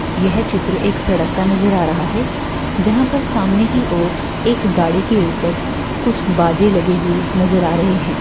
यह चित्र एक सड़क का नजर आ रहा है। जहा पर सामने की और एक गाड़ी के उपर कुछ बाजे लगे हुए नजर आ रहे है।